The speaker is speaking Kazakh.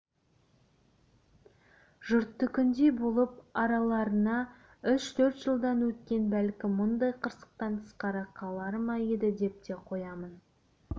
жұрттікіндей болып араларынан үш-төрт жылдан өткенде бәлкім мұндай қырсықтан тысқары қалар ма еді деп те қоямын